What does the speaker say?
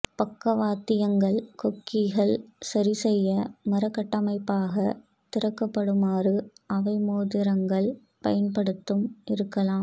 பக்கவாத்தியங்கள் கொக்கிகள் சரிசெய்ய மர கட்டமைப்பாக திருகப்படுமாறு அவை மோதிரங்கள் பயன்படுத்தும் இருக்கலாம்